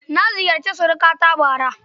Na ziyarci surukata bara.